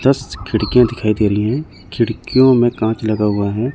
दस खिड़कियां दिखाई दे रही है खिड़कियों में कांच लगा हुआ है।